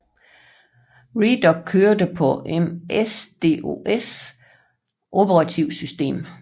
Redoc kørte på MS DOS operativsystemet